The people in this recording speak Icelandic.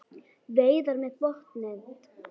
Veiðar með botnnet